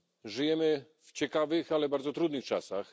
Żyjemy w ciekawych, ale bardzo trudnych czasach.